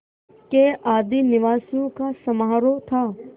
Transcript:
के आदिनिवासियों का समारोह था